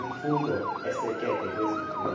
yimfundo esekeke kwiziphumo